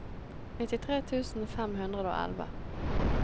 nittitre tusen fem hundre og elleve